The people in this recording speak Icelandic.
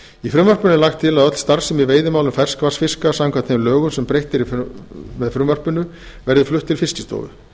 í frumvarpinu er lagt til að öll starfsemi í veiðimálum ferskvatnsfiska samkvæmt þeim lögum sem breytt er með frumvarpinu verði flutt til fiskistofu